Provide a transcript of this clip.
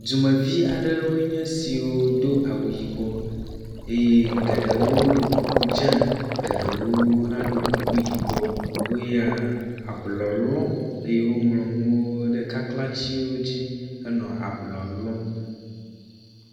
Dumevi aɖewo nye siwo do awu yibɔ eye geɖewo ɖo kuku dzɛ̃ eye geɖewo hã ɖo kuku yibɔ woya ablɔ lɔm eye woŋlɔ nuwo ɖe kaklãtsiwo dzi henɔ ablɔ lɔm.